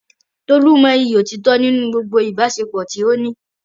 Tolu mọyì òtítọ́ nínú gbogbo ìbáṣepọ̀ tí ó ní.